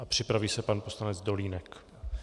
A připraví se pan poslanec Dolínek.